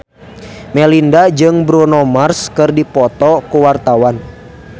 Melinda jeung Bruno Mars keur dipoto ku wartawan